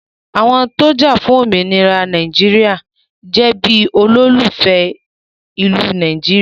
Àwọn tó jafun òmìnira ilẹ̀ Nàìjíríà jẹ àwọn olólùfẹ́ ìlú Nàìjíríà